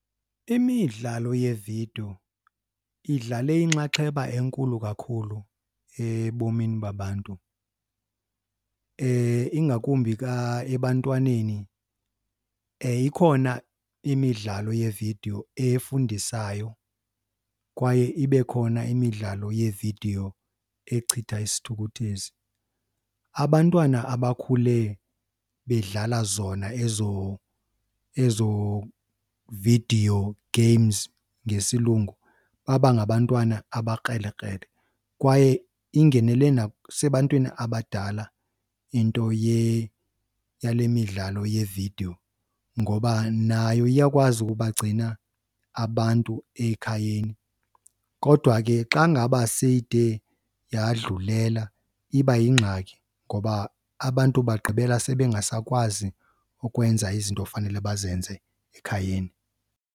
Imidlalo yevidiyo idlale inxaxheba enkulu kakhulu ebomini babantu, ingakumbi ka ebantwaneni. Ikhona imidlalo yevidiyo efundisayo kwaye ibe khona imidlalo yevidiyo echitha isithukuthezi. Abantwana abakhule bedlala zona ezo, ezo video games ngesilungu baba ngabantwana abekrelekrele kwaye ingenele nasebantwini abadala into yale midlalo yevidiyo ngoba nayo iyakwazi ukuba gcina abantu ekhayeni. Kodwa ke xa ngaba seyide yadlulela iba yingxaki ngoba abantu bagqibela sebengasakwazi ukwenza izinto ofanele bazenze ekhayeni.